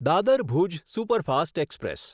Dadar Bhuj superfast express